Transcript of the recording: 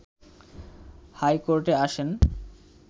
high কোর্টে আসেন